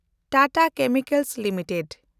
Tata chemicals limited